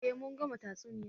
Eh mun gama tatsuniyar